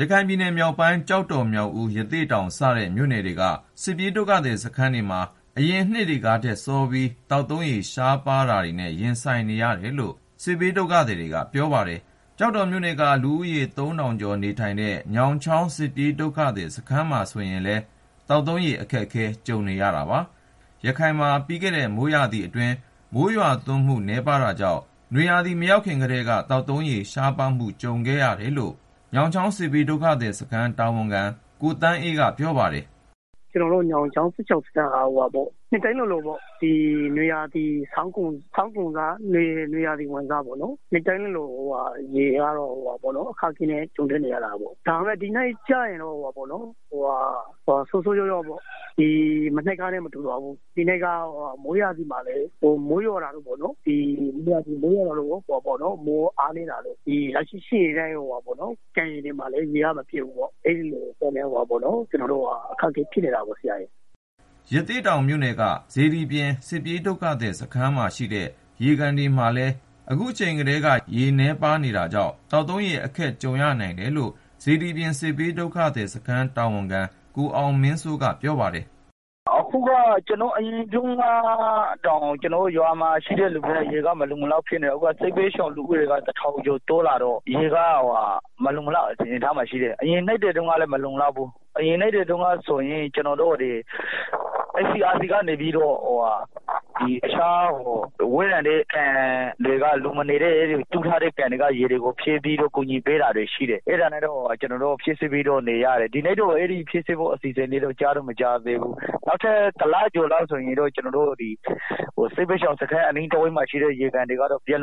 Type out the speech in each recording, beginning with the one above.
ရခိုင်ပြည်နယ်မြောက်ပိုင်း ကျောက်တော် မြောက်ဦး ရသေ့တောင်စတဲ့ မြို့နယ်တွေက စစ်ပြေးဒုက္ခသည်စခန်းတွေမှာ အရင်နှစ်တွေကထက်စောပြီး သောက်သုံးရေ ရှားပါးမှုတွေနဲ့ ရင်ဆိုင်နေရတယ်လို့ စစ်ဘေးဒုက္ခသည်တွေက ပြောပါတယ်။ ကျောက်တော်မြို့နယ်က လူဦးရေ သုံးထောင်ကျော်နေထိုင်တဲ့ ညောင်ချောင်းစစ်ပြေးဒုက္ခသည် စခန်းမှာဆိုရင်လည်း သောက်သုံးရေ အခက်ကြုံနေရပါတယ်။ ရခိုင်မှာ ပြီးခဲ့တဲ့ မိုးရာသီကာလ မိုးရွာသွန်းမှု နည်းပါးခဲ့တာကြောင့် နွေရာသီ မရောက်ခင်ကတည်းက သောက်သုံးရေ ရှားပါးမှု ကြုံခဲ့ရတယ်လို့ ညောင်ချောင်း စစ်ဘေးဒုက္ခသည်စခန်း တာဝန်ခံ ကိုသန်းအေးကပြောပါတယ်။ “ ကျနော်တို့ ညောင်ချောင်း စစ်ဘေးဒုက္ခသည်စခန်းက နှစ်တိုင်းလိုလို ဒီဆောင်းကုန်ပြီးတော့ နွေရာသီဆိုရင် ရေကတော့ အခက်အခဲနဲ့ ကြုံရတယ်။ ဒါပေမဲ့ ဒီနှစ်ကျရင်တော့ ဆိုးဆိုး ရွားရွားပေါ့၊ မနှစ်ကနဲ့ မတူဘူး ဒီနှစ်က မိုးရာသီမှာလည်း မိုးရွာတာ အားနည်းတော့ ကန်တွေမှာလည်း ရေက မပြည့်ဘူးပေါ့၊ အဲတာကြောင့် ကျနော်တို့ အခက်အခဲဖြစ်နေတာ။” ရသေ့တောင်မြို့နယ်က စေတီပြင် စစ်ပြေးဒုက္ခသည်စခန်းမှာရှိတဲ့ ရေကန်တွေမှာလည်း အခုချိန်ကတည်းက ရေနည်းပါးနေတာကြောင့် သောက်သုံးရေ အခက်ကြုံရနိုင်တယ်လို့ စေတီပြင်စစ်ဘေးဒုက္ခသည်စခန်း တာဝန်ခံ ကိုအောင်မင်းစိုးက ပြောပါတယ်။ “ အရင်တုန်းကတောင် ကျနော်တို့ရွာက ရေက မလုံမလောက်ဖြစ်နေတာ၊ အခု စစ်ဘေးဒုက္ခသည် လူဦးရေက တထောင်ကျော် တိုးလာတော့ ရေက မလုံလောက်တော့ဘူး၊ အရင်နှစ်တွေ တုန်းကဆိုရင် ကျနော်တို့ဒီ ICRC ကနေပြီးတော့ တခြားဝေးလံတဲ့ နေရာက ရေကိုယူပြီး ကူညီပေးတာရှိတယ်၊ ဒီနှစ်တော့ အဲလို လုပ်ပေးဖို့ မကြားသေးဘူး။ နောက်ထပ် တလလောက် ဆိုရင်တော့ ကျနော်တို့ ဒီ စစ်ဘေးဒုက္ခသည်စခန်း အနီးတဝိုက်မှာရှိတဲ့ ရေကန်တွေက ရေခမ်းလောက်ပြီ။”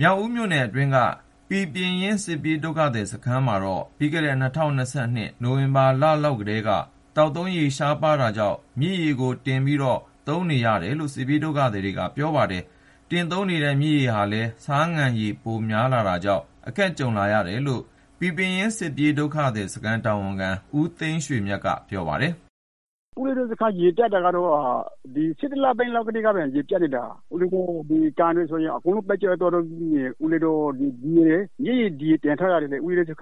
မြောက်ဦးမြို့နယ်အတွင်းက ပီပင်ရင်း စစ်ပြေးဒုက္ခသည် စခန်းမှာတော့ ပြီးခဲ့တဲ့ ၂၀၂၂ ခုနှစ် နိုဝင်ဘာလလောက်ကတည်းက သောက်သုံးရေ ရှားပါးတာကြောင့် မြစ်ရေကိုတင်ပြီးတော့ သုံးနေရတယ်လို့ စစ်ပြေးဒုက္ခသည်တွေကပြောပါတယ်။ တင်သုံးနေတဲ့ မြစ်ရေဟာလည်း ဆားငံရည် ဖြစ်နေတာကြောင့် အခက်ကြုံလာရတယ်လို့ ပီပင်ရင်း စစ်ပြေးဒုက္ခသည်စခန်းတာဝန်ခံ ဦးသိန်းရွှေမြတ်က ပြောပါတယ်။ “ ကျနော်တို့စခန်း ရေပြတ်တာကတော့ ၁၁ လပိုင်းလောက်ကတည်းက ရေပြတ်နေတာ၊ ကန်တွေဆိုရင် အကုန်လုံး ခမ်းခြောက်နေပြီ၊ မြစ်ရေကို တင်ထားရတယ်၊ မြစ်ရေကလည်း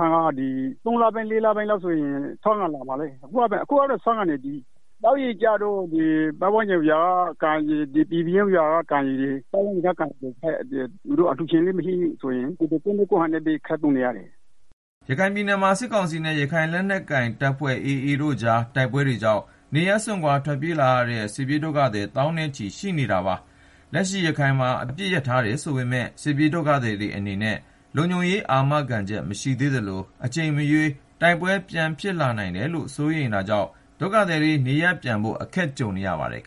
၃ လပိုင်းလောက်ဆိုရင် ဆားငံရေတွေဖြစ်လာမှာ အခုကတည်းက ဆားငံနေပါပြီ၊ သောက်ရေကျတော့ ပတ်ဝန်းကျင်က ကန်ရေတွေ ပီပင်ရင်းကျေးရွာက ကန်ရေကို အလှုရှင်လည်း မရှိတော့ ကိုယ့်နည်းကိုယ့်ဟန်နဲ့ ခပ်သုံးနေရတာ။” ရခိုင်ပြည်နယ်မှာ စစ်ကောင်စီနဲ့ ရခိုင်လက်နက်ကိုင် AAအဖွဲ့ကြား တိုက်ပွဲတွေကြောင့် နေရပ်စွန့်ခွာ ထွက်ပြေးလာတဲ့ စစ်ပြေးဒုက္ခသည် သောင်းနဲ့ချီ ရှိနေသေးတာပါ။ လက်ရှိ ရခိုင်မှာ အပစ်ရပ်ထားတယ်ဆိုပေမယ့် စစ်ပြေးဒုက္ခသည်တွေအနေနဲ့ လုံခြုံရေး အာမခံချက် မရှိသေးသလို အချိန်မရွေး တိုက်ပွဲဖြစ်လာနိုင်တယ်လို့ စိုးရိမ်နေတာကြောင့် နေရပ်ပြန်ဖို့ ခက်နေကြပါတယ်။